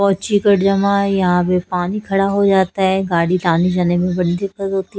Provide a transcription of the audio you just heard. यहां पे पानी खड़ा हो जाता है गाड़ी आने --